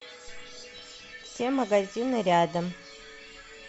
все магазины рядом